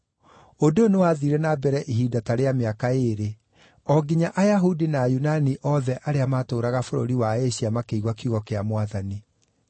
Ũndũ ũyũ nĩwathiire na mbere ihinda ta rĩa mĩaka ĩĩrĩ, o nginya Ayahudi na Ayunani othe arĩa maatũũraga bũrũri wa Asia makĩigua kiugo kĩa Mwathani.